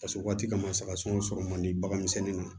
Paseke o waati kama saga sɔ sɔrɔ man di bagan misɛnnin na